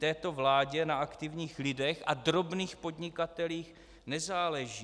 Této vládě na aktivních lidech a drobných podnikatelích nezáleží.